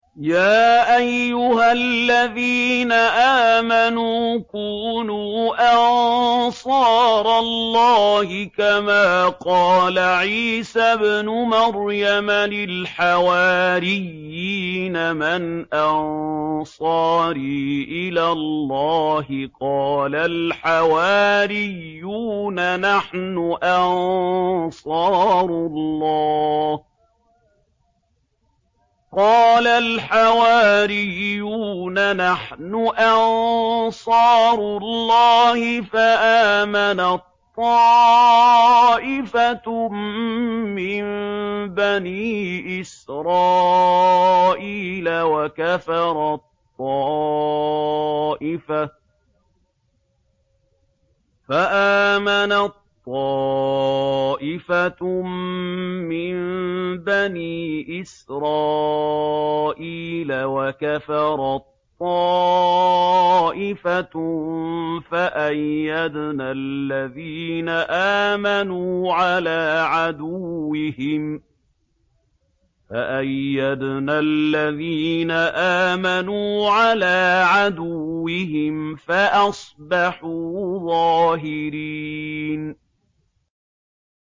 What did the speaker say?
يَا أَيُّهَا الَّذِينَ آمَنُوا كُونُوا أَنصَارَ اللَّهِ كَمَا قَالَ عِيسَى ابْنُ مَرْيَمَ لِلْحَوَارِيِّينَ مَنْ أَنصَارِي إِلَى اللَّهِ ۖ قَالَ الْحَوَارِيُّونَ نَحْنُ أَنصَارُ اللَّهِ ۖ فَآمَنَت طَّائِفَةٌ مِّن بَنِي إِسْرَائِيلَ وَكَفَرَت طَّائِفَةٌ ۖ فَأَيَّدْنَا الَّذِينَ آمَنُوا عَلَىٰ عَدُوِّهِمْ فَأَصْبَحُوا ظَاهِرِينَ